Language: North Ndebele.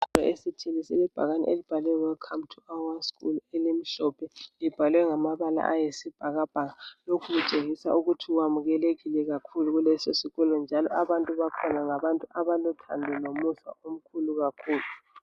Ibhakane elibhalwe "welcome to our school " elimhlophe libhalwe ngamabala ayisibhakabhaka , lokhu kutshengisa ukuthi wamukelekile kakhulu kuleso sikolo njalo abantu bakhona ngabantu abalo thando lomusa kakhulu.